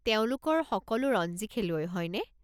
তেওঁলোকৰ সকলো ৰঞ্জী খেলুৱৈ, হয়নে?